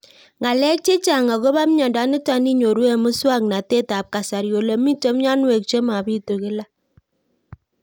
Ng'alek chechang' akopo miondo nitok inyoru eng' muswog'natet ab kasari ole mito mianwek che mapitu kila